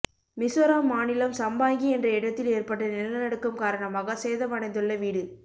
மிசோராம் மாநிலம் சம்பாங்கி என்ற இடத்தில் ஏற்பட்ட நிலநடுக்கம் காரணமாக சேதமடைந்துள்ள வீடு